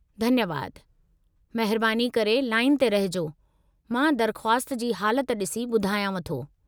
धन्यवादु, महिरबानी करे लाइन ते रहिजो, मां दरख़्वास्त जी हालति डि॒सी ॿुधायांव थो।